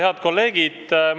Head kolleegid!